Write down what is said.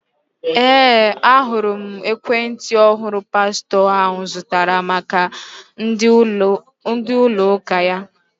Ee, ahụrụ m ekwentị ọhụrụ pastọ ahụ zụtara maka ndi ųlo ųka ya.